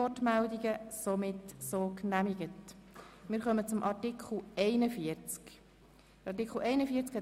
Sie musste am Freitag aus gesundheitlichen Gründen ins Inselspital.